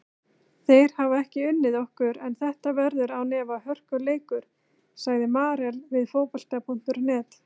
Þeir hafa ekki unnið okkur en þetta verður án efa hörkuleikur, sagði Marel við Fótbolta.net.